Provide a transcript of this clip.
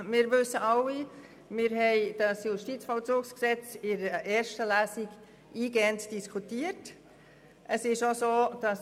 Wir wissen, dass das JVG in der ersten Lesung eingehend diskutiert wurde.